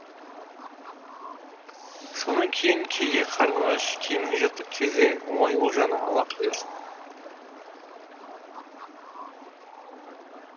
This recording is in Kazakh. сонан соң кейде қарның аш киімің жыртық кезде оңай олжаны ала қоясың